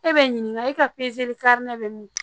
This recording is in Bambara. E bɛ n ɲininka e ka bɛ min